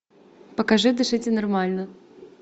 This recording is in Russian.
покажи дышите нормально